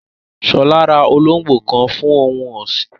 Shola ra olóngbò kan fún ohun ọ̀sìn